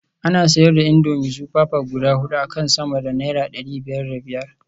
Ana siyar da indomie super pack guda hudu akan sama da naira dari biyar da biyar